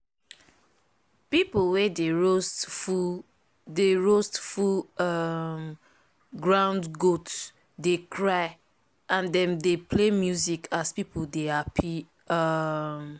people way dey roast full dey roast full um ground goat dey cry and dem dey play music as people dey happy. um